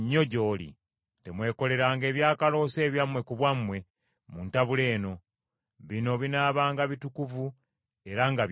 Temwekoleranga ebyakaloosa ebyammwe ku bwammwe mu ntabula eno; bino binaabanga bitukuvu era nga bya Mukama .